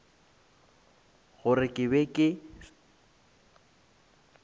se gore ke be ke